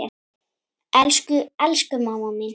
Elsku, elsku mamma mín.